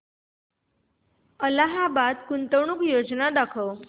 Allahabad Bank गुंतवणूक योजना दाखव